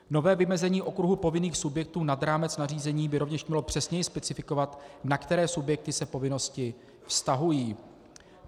Nové vymezení okruhu povinných subjektů nad rámec nařízení by rovněž mělo přesněji specifikovat, na které subjekty se povinnosti vztahují.